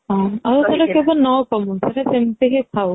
ହଁ ସେଇଟା କେବେ ନକମୁ ସେଇଟା ସେମିତି ହି ଥାଉ